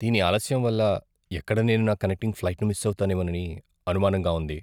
దీని ఆలస్యం వల్ల ఎక్కడ నేను నా కనెక్టింగ్ ఫ్లైట్ను మిస్ అవుతానేమోనని అనుమానంగా ఉంది.